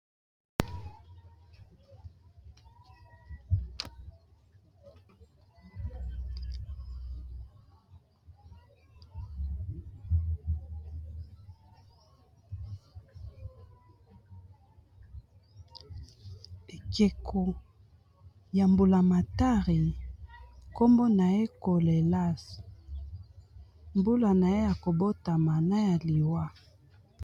Ekeko ya mbulamatari kombo na ye Kolelas mbula na ye ya kobota na ya liwa.